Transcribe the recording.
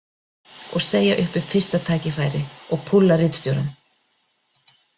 Og segja upp við fyrsta tækifæri og púlla ritstjórann.